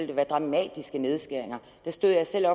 der være dramatiske nedskæringer da stod jeg selv